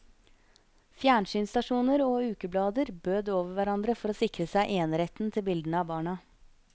Fjernsynsstasjoner og ukeblader bød over hverandre for å sikre seg eneretten til bildene av barna.